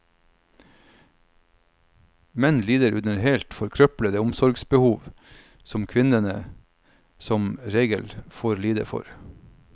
Menn lider under helt forkrøplede omsorgsbehov som kvinnene som regel får lide for.